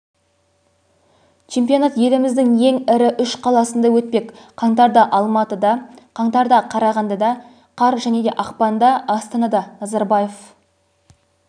чемпионат еліміздің ең ірі үш қаласында өтпек қаңтарда алматыда қаңтарда қарағандыда қар және ақпанда астанада назарбаев